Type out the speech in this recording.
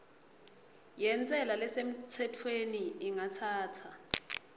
yentsela lesemtsetfweni ingatsatsa